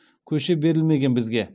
көше берілмеген бізге